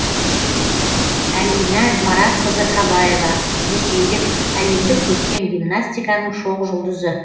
әлинә маратқызы қабаева ресейлік әлемдік көркем гимнастиканың шоқ жұлдызы